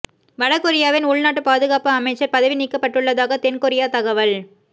வட கொரியாவின் உள்நாட்டுப் பாதுகாப்பு அமைச்சர் பதவி நீக்கப்பட்டுள்ளதாக தென் கொரியா தகவல்